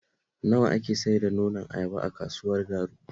Nawa ake sayar da nonon ayaba a kasuwar Garu?